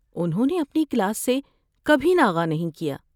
انہوں اپنی کلاس سے کبھی ناغہ نہیں کیا۔